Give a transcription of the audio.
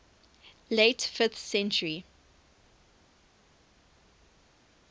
late fifth century